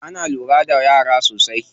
Ana lura da yara sosai.